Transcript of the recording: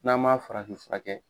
N'an m'a farafinfurakɛ.